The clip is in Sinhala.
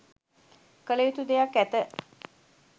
කළයුතු දෙයක් ඇත.